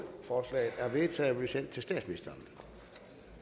vedtagelse